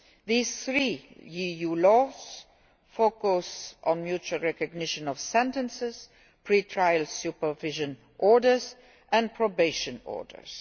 These three EU laws focus on mutual recognition of sentences, pre trial supervision orders and probation orders.